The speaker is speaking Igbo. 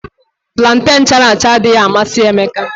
Planten chara acha adịghị amasị Emeka